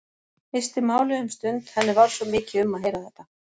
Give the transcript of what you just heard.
Missti málið um stund, henni varð svo mikið um að heyra þetta.